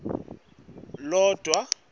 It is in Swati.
logwaja